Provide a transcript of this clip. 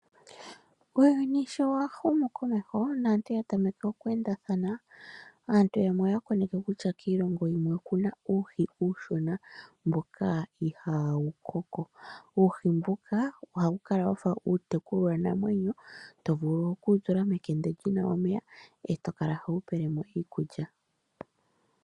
Uuyuni sho wa humukomeho naantu oya tameke okweendathana aantu yamwe oya koneke kutya kiilongo yimwe okuna uuhi uushona mboka ihaawu koko. Uuhi mbuka ohawu kala wa fa uutekulwanamwenyo to vulu okuwutula mekende li na omeya e to kala howu pele mo iikulya.